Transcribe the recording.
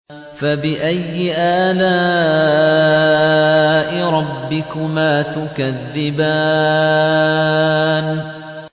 فَبِأَيِّ آلَاءِ رَبِّكُمَا تُكَذِّبَانِ